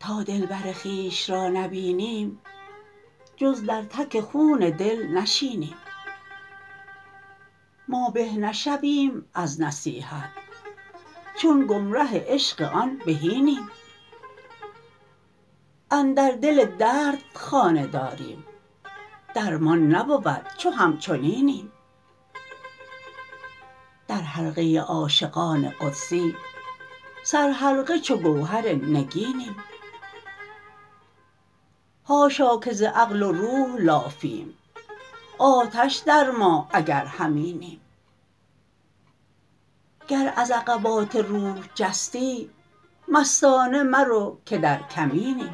تا دلبر خویش را نبینیم جز در تک خون دل نشینیم ما به نشویم از نصیحت چون گمره عشق آن بهینیم اندر دل درد خانه داریم درمان نبود چو همچنینیم در حلقه عاشقان قدسی سرحلقه چو گوهر نگینیم حاشا که ز عقل و روح لافیم آتش در ما اگر همینیم گر از عقبات روح جستی مستانه مرو که در کمینیم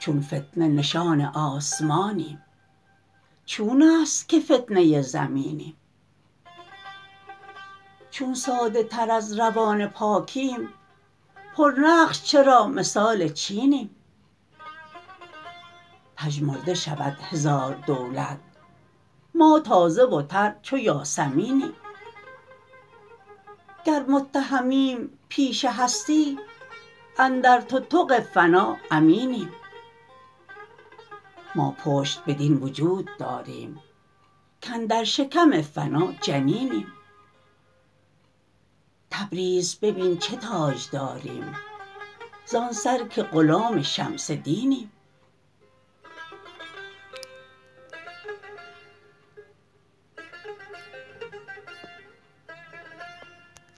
چون فتنه نشان آسمانیم چون است که فتنه زمینیم چون ساده تر از روان پاکیم پرنقش چرا مثال چینیم پژمرده شود هزار دولت ما تازه و تر چو یاسمینیم گر متهمیم پیش هستی اندر تتق فنا امینیم ما پشت بدین وجود داریم کاندر شکم فنا جنینیم تبریز ببین چه تاجداریم زان سر که غلام شمس دینیم